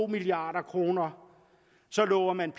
milliard kroner så lover man